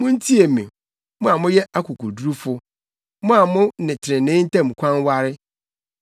Muntie me, mo a moyɛ akokodurufo, mo a mo ne trenee ntam kwan ware;